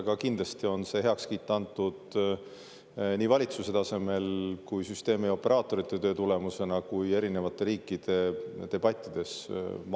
Aga kindlasti on see heakskiit antud nii valitsuse tasemel, nii süsteemioperaatorite töö tulemusena kui ka erinevate riikide debattide.